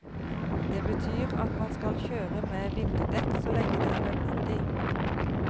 Det betyr at man skal kjøre med vinterdekk så lenge det er nødvendig.